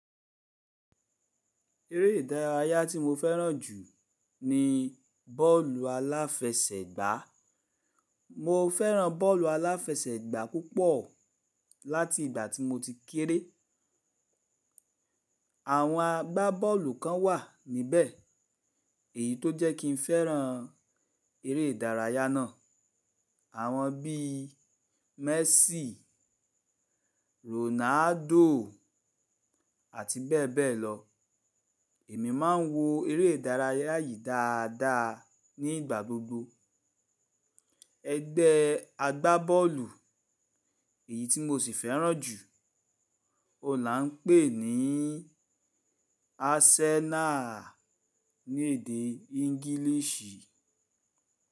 Eré ìdárayá tí mo fẹ́ràn jù ní bọ́ọ̀lù aláfẹsẹ̀gbá. Mo fẹ́ràn bọ́ọ̀lù aláfẹsẹ̀gbá púpọ̀ láti ìgbà tí mo ti kéré. Àwọn agbábọ́ọ̀lù kan wà níbẹ̀ èyí tó jẹ́ kí n fẹ́ràn eré ìdárayá náà. Àwọn bí Messi, Ronaldo àti bẹ́ẹ̀ bẹ́ẹ̀ lọ. Èmi máa ń wo eré ìdárayá yìí dáadáa ní ìgbà gbogbo. Ẹgbẹ́ agbábọ́ọ̀lù èyí tí mo sì fẹ́ràn jù, ọ̀la ńpè ní Arsenal ní èdè English.